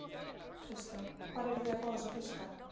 Kristján: Hvar eruð þið að fá þessa fiska?